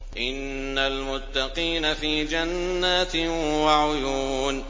إِنَّ الْمُتَّقِينَ فِي جَنَّاتٍ وَعُيُونٍ